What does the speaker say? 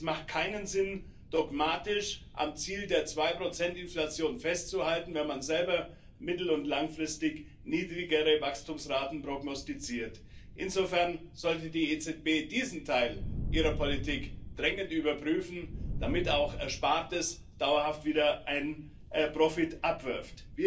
Es macht keinen Sinn, dogmatisch am Ziel der 2 Inflation festzuhalten, wenn man selber mittel und langfristig niedrigere Wachstumsraten prognostiziert. Insofern sollte die EZB diesen Teil ihrer Politik dringend überprüfen, damit auch Erspartes dauerhaft wieder einen Profit abwirft.